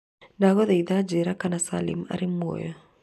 Ndagũthaitha njĩĩra kana Salim arĩ muoyo